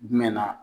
Jumɛn na